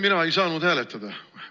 Mina ei saanud hääletada.